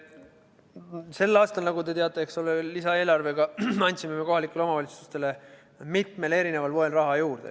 Sel aastal, nagu te teate, andsime me lisaeelarvega kohalikele omavalitsustele mitmel erineval moel raha juurde.